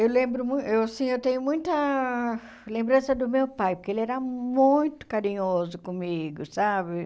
Eu lembro mui eu, assim, eu tenho muita lembrança do meu pai, porque ele era muito carinhoso comigo, sabe?